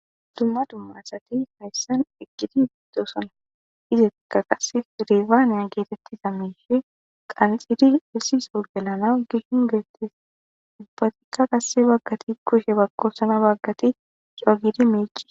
dumma dumma asati hayssan eqqidi biddosana izekka qasse rifaaniya geetettiza mishe qanxidi issisoogenana gishin geettes ubbatikka qasse baggati kushe bakkosana baggati co gidi miici